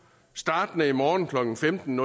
startende i morgen klokken femten